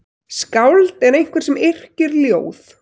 Skáld er einhver sem yrkir ljóð.